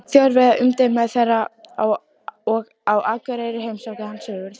Þjóðverja í umdæmum þeirra, og á Akureyri heimsótti hann Sigurð